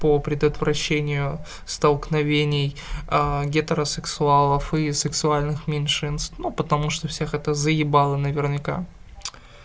по предотвращению столкновений гетеросексуалов и сексуальных меньшинств ну потому что всех это заебало наверняка